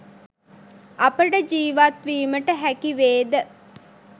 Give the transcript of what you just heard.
අපට ජීවත් වීමට හැකි වේ ද